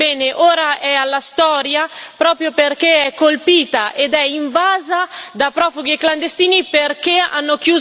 Bene, ora passa alla storia proprio perché è colpita ed è invasa da profughi e clandestini perché hanno chiuso le frontiere.